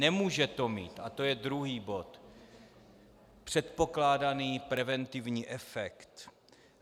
Nemůže to mít, a to je druhý bod, předpokládaný preventivní efekt.